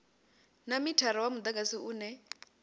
na mithara wa mudagasi une